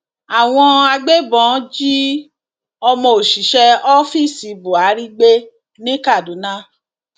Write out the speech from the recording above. àwọn agbébọn jí ọmọ òṣìṣẹ ọfíìsì buhari gbé ní kaduna